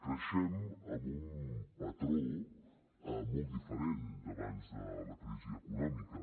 creixem amb un patró molt diferent d’abans de la crisi econòmica